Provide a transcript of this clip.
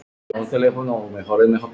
Hvað ertu að hugsa?